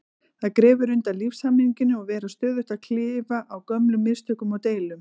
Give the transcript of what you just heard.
Það grefur undan lífshamingjunni að vera stöðugt að klifa á gömlum mistökum og deilum.